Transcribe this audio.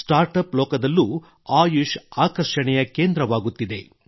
start up ಲೋಕದಲ್ಲೂ ಆಯುಷ್ ಆಕರ್ಷಣೆಯ ಕೇಂದ್ರವಾಗುತ್ತಿದೆ